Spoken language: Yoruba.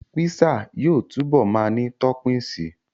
Písà yóò túbọ̀ ma ní tọ́pìnsí